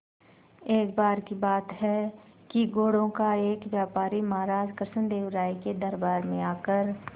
एक बार की बात है कि घोड़ों का एक व्यापारी महाराज कृष्णदेव राय के दरबार में आकर